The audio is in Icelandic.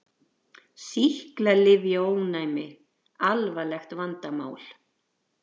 Sýklalyfjaónæmi alvarlegt vandamál